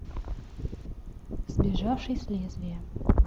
сбежавший с лезвия